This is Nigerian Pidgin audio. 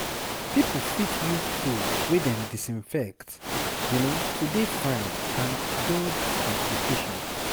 pipo fit use tools wey dem disinfect to dey fine and dodge complications